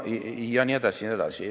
Ja nii edasi.